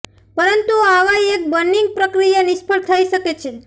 પરંતુ આવા એક બર્નિંગ પ્રક્રિયા નિષ્ફળ થઈ શકે છે